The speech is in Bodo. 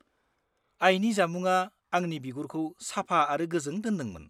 -आयनि जामुंआ आंनि बिगुरखौ साफा आरो गोजों दोनदोंमोन।